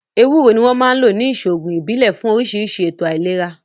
Ewúro ni wọ́n máa ń lò ní ìṣòògùn ìbílẹ̀ fún oríṣiríṣi ètò àìlera